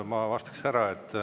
Ma vastaks ära.